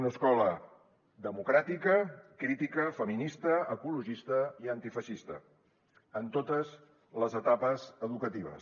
una escola democràtica crítica feminista ecologista i antifeixista en totes les etapes educatives